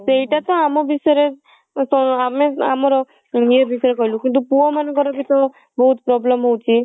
ସେଇଟା ତ ଆମ ବିଷୟ ରେ ଆମେ ଆମର କିନ୍ତୁ ପୁଅ ମାନଙ୍କର ବି ତ ବହୁତ problem ହଉଛି